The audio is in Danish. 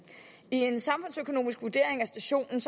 i en samfundsøkonomisk vurdering af stationen